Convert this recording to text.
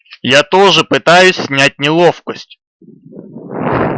я тоже пытаюсь снять неловкость